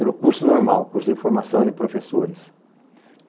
Era o curso normal, o curso de formação de professores.